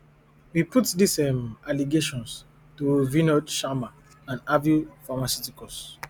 we put dis um allegations to vinod sharma and aveo pharmaceuticals